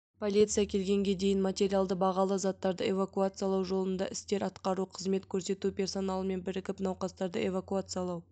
полиция келгенге дейін материалды бағалы заттарды эвакуациялау жолында істер атқару қызмет көрсету персоналымен бірігіп науқастарды эвакуациялау